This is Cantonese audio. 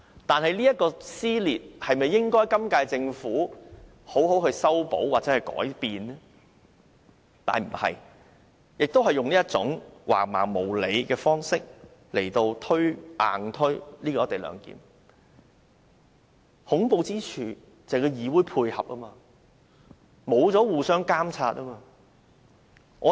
但是，政府沒有這樣做，仍然用一種橫蠻無理的方式硬推"一地兩檢"，而恐怖之處在於部分議員予以配合，令議會失去了監察的作用。